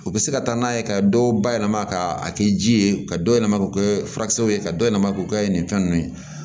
U bɛ se ka taa n'a ye ka dɔw bayɛlɛma ka a kɛ ji ye ka dɔ yɛlɛma k'o kɛ furakisɛw ye ka dɔ yɛlɛma k'o kɛ nin fɛn ninnu ye